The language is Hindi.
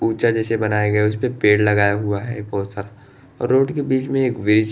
ऊँचा जैसे बनाया गया है उसपे पेड़ लगाया हुआ है बहुत सारा और रोड के बीच में एक ब्रीज़ --